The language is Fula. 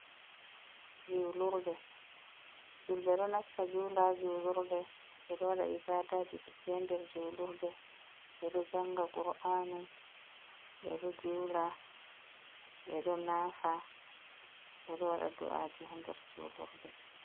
Julurde, julɓe ɗo nasta jula ha julurde. Ɓe ɗo waɗa ibaadaji ɗuɗɗi ha nder julurde. Ɓe ɗo janga qur’anu, be ɗo jula, ɓe ɗo naafa, ɓe ɗo waɗa du'aji ha nder julurde.